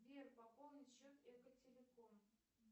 сбер пополни счет экотелеком